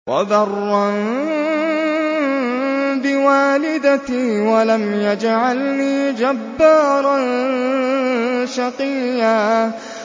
وَبَرًّا بِوَالِدَتِي وَلَمْ يَجْعَلْنِي جَبَّارًا شَقِيًّا